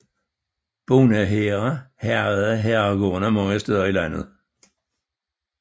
Bondehære hærgede herregårdene mange steder i landet